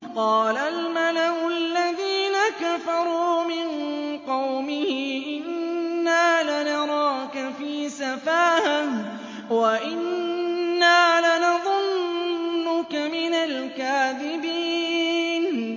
قَالَ الْمَلَأُ الَّذِينَ كَفَرُوا مِن قَوْمِهِ إِنَّا لَنَرَاكَ فِي سَفَاهَةٍ وَإِنَّا لَنَظُنُّكَ مِنَ الْكَاذِبِينَ